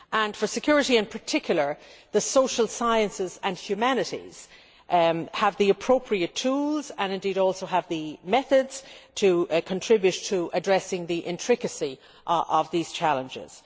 For security in particular, the social sciences and humanities have the appropriate tools, and indeed also have the methods, to contribute to addressing the intricacy of these challenges.